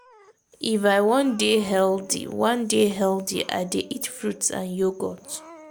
if i wan dey healthy wan dey healthy i dey eat fruits and yogurt.